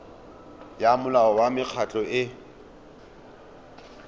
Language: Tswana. ya molao wa mekgatlho e